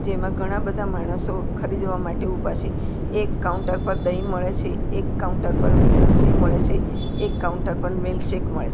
એમાં ઘણા બધા માણસો ખરીદવા માટે ઊભા છે એક કાઉન્ટર પર દહીં મળે છે એક કાઉન્ટર પર લસ્સી મળે છે એક કાઉન્ટર પર મિલ્કશેક મળે છે.